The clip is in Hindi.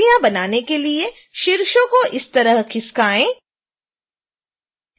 पत्तियाँ बनाने के लिए शीर्षों को इस तरह खिसकाएँ